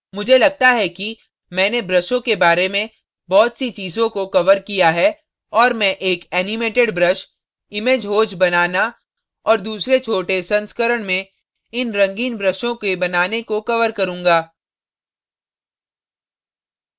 मुझे लगता है कि मैंने ब्रशों के बारे में बहुत सी चीज़ों को cover किया है और मैं एक animated brush image hose बनाना और दूसरे छोटे संस्करण में इन रंगीन ब्रशों के बनाने को cover करूँगा